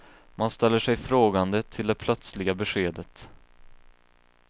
Man ställer sig frågande till det plötsliga beskedet.